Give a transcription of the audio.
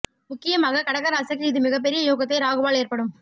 முக்கியமாக கடக ராசிக்கு இது மிக பெரிய யோகத்தை ராகுவால் ஏற்படும்